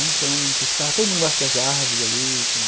Então, ficava todo mundo embaixo das árvores ali.